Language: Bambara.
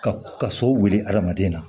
Ka ka so wuli adamaden na